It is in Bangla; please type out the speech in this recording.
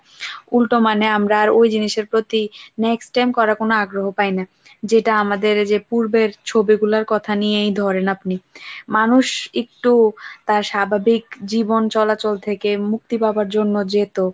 উল্টো মানে আমরা আর ওই জিনিসের প্রতি next time করার কোন আগ্রহ পায় না যেটা আমাদের যে পূর্বের ছবি গুলার কথা নিয়েই ধরেন আপনি মানুষ একটু তা স্বাভাবিক জীবন চলাচল থেকে মুক্তি পাবার জন্য যেত।